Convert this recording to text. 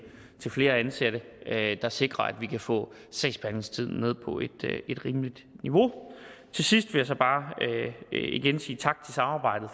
til flere ansatte der sikrer at vi kan få sagsbehandlingstiden ned på et rimeligt niveau til sidst vil jeg bare igen sige tak for samarbejdet